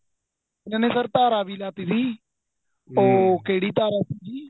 ਇਹਨਾ sir ਧਾਰਾ ਵੀ ਲਾਤੀ ਸੀ ਉਹ ਕਿਹੜੀ ਧਾਰਾ ਸੀ